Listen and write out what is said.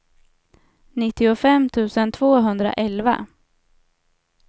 nittiofem tusen tvåhundraelva